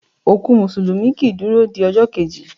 Òkú músùlùmí kii duro di ọjọ́ keji